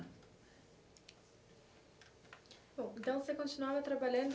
Bom, então você continuava trabalhando